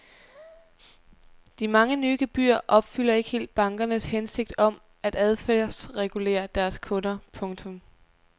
De mange nye gebyrer opfylder ikke helt bankernes hensigt om at adfærdsregulere deres kunder. punktum